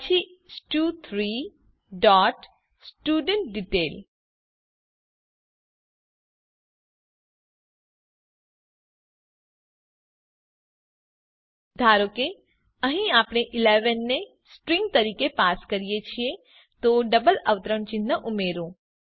પછી સ્ટુ3 dot student detail ધારો કે અહીં આપણે 11 ને સ્ટ્રીંગ તરીકે પાસ કરીએ છીએ તો ડબલ અવતરણ ચિહ્ન ઉમેરો